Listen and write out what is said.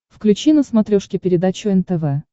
включи на смотрешке передачу нтв